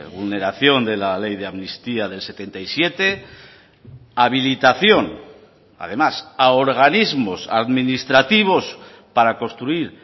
vulneración de la ley de amnistía del setenta y siete habilitación además a organismos administrativos para construir